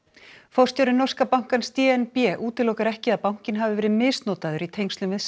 forstjóri norska bankans d n b útilokar ekki að bankinn hafi verið misnotaður í tengslum við